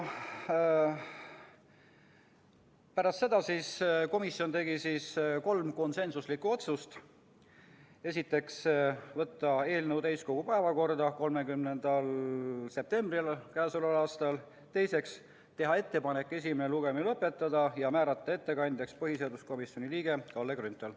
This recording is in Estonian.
Pärast seda arutelu tegi komisjon kolm konsensuslikku otsust: võtta eelnõu täiskogu päevakorda 30. septembriks k.a, teha ettepanek esimene lugemine lõpetada ja määrata ettekandjaks põhiseaduskomisjoni liige Kalle Grünthal.